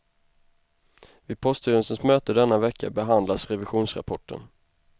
Vid poststyrelsens möte denna vecka behandlas revisionsrapporten.